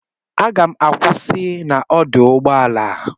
M ga-akwụsị na ọdụ ụgbọ ala a